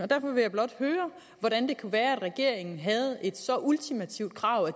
derfor vil jeg blot høre hvordan det kan være at regeringen havde et så ultimativt krav at